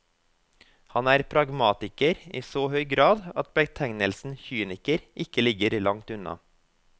Han er pragmatiker i så høy grad at betegnelsen kyniker ikke ligger langt unna.